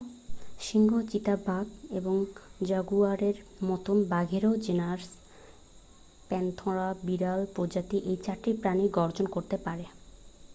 সিংহ চিতাবাঘ এবং জাগুয়ারের মতোই বাঘেরও জেনাস প্যান্থেরা বিড়াল প্রজাতির এই চারটি প্রাণীই গর্জন করতে পারে